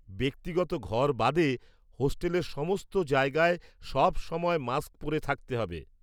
ব্যক্তিগত ঘর বাদে, হোস্টেলের সমস্ত জায়গায় সবসময় মাস্ক পরে থাকতে হবে।